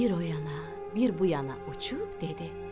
Bir oyana, bir buyana uçub dedi: